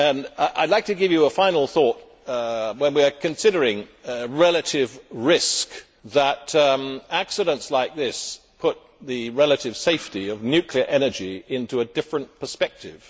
I would like to give you a final thought, when we are considering relative risk that accidents like this put the relative safety of nuclear energy into a different perspective.